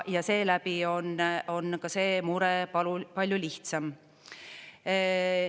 Ja seeläbi on ka see mure palju lihtsam.